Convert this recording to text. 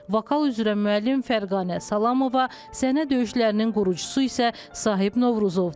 Vokal üzrə müəllim Fərqanə Salamova, səhnə döyüşlərinin qurucusu isə Sahib Novruzovdur.